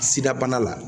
Sida bana la